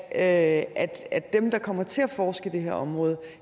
at at dem der kommer til at forske i det her område